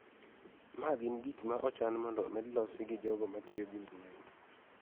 Ma gin gik ma ochan mondo omed losi gi jogo ma tiyo gi mbui.